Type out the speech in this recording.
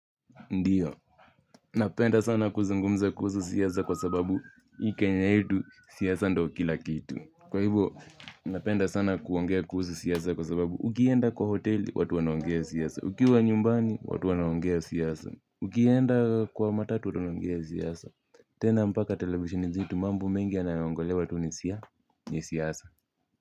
Ndiyo napenda sana kuzungumza kuhusu siasa kwa sababu hii Kenya yetu siasa ndo kila kitu kwa hivo, napenda sana kuongea kuhusu siasa kwa sababu ukienda kwa hoteli, watu wanaongea siasa. Ukiwa nyumbani, watu wanaongea siasa. Ukienda kwa matatu, watu wanaongea siasa. Tena mpaka televisheni zetu mambo mengi yanaongolewa tu ni sia ni siasa.